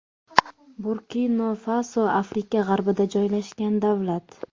Burkina Faso Afrika g‘arbida joylashgan davlat.